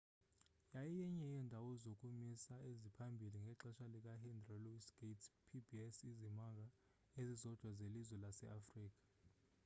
yayiyenye yeendawo zokumisa eziphambili ngexesha likahenry louis gates pbs izimanga ezizodwa zelizwe laseafrika